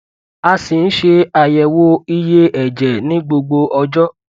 a si n ṣe ayẹwo iye ẹjẹ ni gbogbo ọjọ